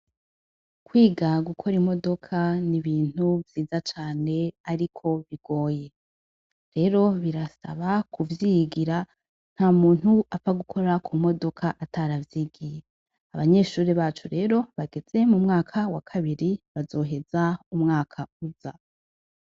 Kwiga gukora imodoka n' ibintu vyiza cane ariko bigoye, rero birasaba ku vyigira nta muntu apfa gukora ku modoka ataravyigiye abanyeshuri bacu rero bageze mu mwaka wa kabiri bazoheza umwaka uza.